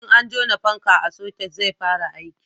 in an jona fanka a soket zai fara aiki